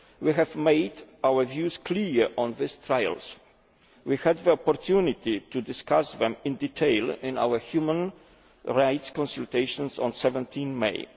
We have made our views clear on these trials. We had the opportunity to discuss them in detail in our human rights consultations on 17 May